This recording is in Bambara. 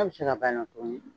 Hali sira b'an na tuguni .